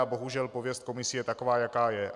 A bohužel pověst komisí je taková, jaká je.